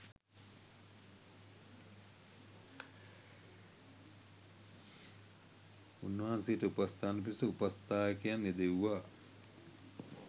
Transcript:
උන්වහන්සේට උපස්ථාන පිණිස උපස්ථායකයන් යෙදෙව්වා